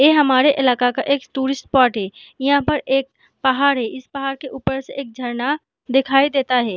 ये हमारा इलाका का एक टूरिस्ट सपोर्ट है यहाँ पर एक पहाड़ है इस पहाड़ के ऊपर से एक झरना दिखाई देता हैं।